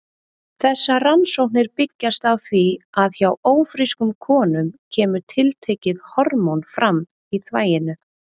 Þessar rannsóknir byggjast á því að hjá ófrískum konum kemur tiltekið hormón fram í þvaginu.